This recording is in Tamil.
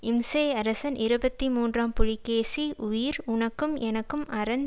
இம்சை அரசன் இருபத்தி மூன்றாம் புலிகேசி உயிர் உனக்கும் எனக்கும் அரண்